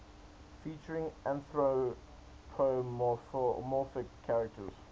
featuring anthropomorphic characters